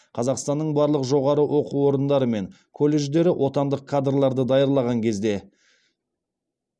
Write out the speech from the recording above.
қазақстанның барлық жоғары оқу орындары мен колледждері отандық кадрларды даярлаған кезде